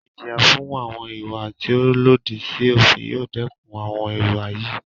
Ìjìyà fún àwọn ìwà tí o lòdì sí òfin yóò dẹkùn àwọn ìwà yìí.